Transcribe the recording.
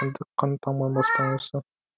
кіндік қаны тамған баспанасы